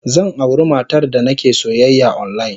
Zan auri matar da nake soyayya online.